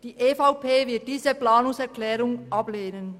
Die EVP wird diese Planungserklärung ablehnen.